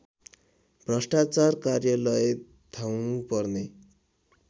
भ्रष्टाचार कार्यालय धाउनुपर्ने